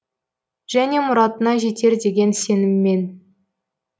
және мұратына жетер деген сеніммен